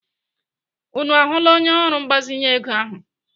Unu ahụla onye ọrụ mgbazinye ego ahụ?